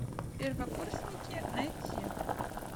первокурсники найти